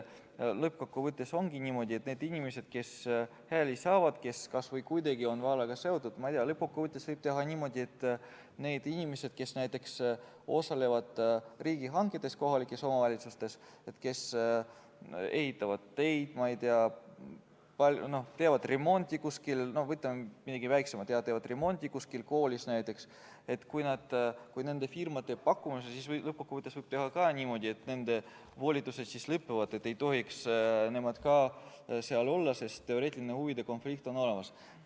Lõppkokkuvõttes ongi niimoodi, et kui inimesed on hääli saanud ja nad on kas või kuidagi vallaga seotud, kui nad näiteks osalevad riigihangetes kohalikes omavalitsustes, ehitavad teid, ma ei tea, võtame midagi väiksemat, jah, teevad remonti kuskil koolis näiteks, ja kui nende firma teeb pakkumuse, siis võib lõppkokkuvõttes teha ka niimoodi, et nende volitused siis lõpevad, ka nemad ei tohiks seal olla, sest teoreetiline huvide konflikt on olemas.